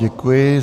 Děkuji.